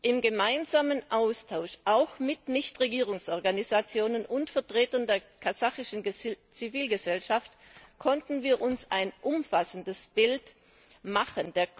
Im gemeinsamen Austausch auch mit Nichtregierungsorganisationen und Vertretern der kasachischen Zivilgesellschaft konnten wir uns ein umfassendes Bild machen.